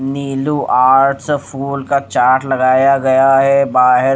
नीलू art फूल का chart लगाया गया है बाहेर--